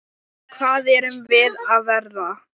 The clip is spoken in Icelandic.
Hvað erum við að verða?